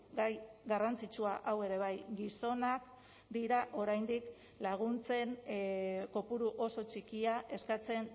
gai garrantzitsua hau ere bai gizonak dira oraindik laguntzen kopuru oso txikia eskatzen